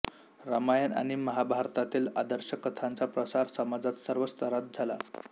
रामायण आणि महाभारतातील आदर्श कथांचा प्रसार समाजात सर्व स्तरात झाला